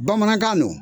Bamanankan don